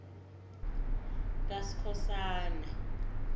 kaskhosana